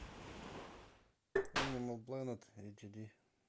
энимал планет эйч ди